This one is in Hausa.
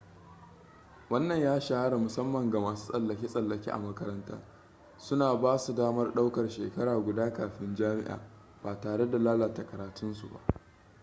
wannan ya shahara musamman ga masu tsallake-tsallake a makaranta suna basu damar ɗaukar shekara guda kafin jami'a ba tare da lalata karatunsu ba